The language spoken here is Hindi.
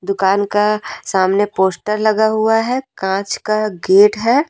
दुकान का सामने पोस्टर लगा हुआ है कांच का गेट है।